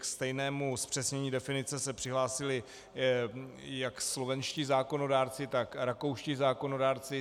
K stejnému zpřesnění definice se přihlásili jak slovenští zákonodárci, tak rakouští zákonodárci.